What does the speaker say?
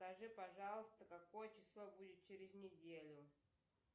скажи пожалуйста какое число будет через неделю